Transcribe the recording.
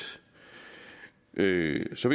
jeg vil så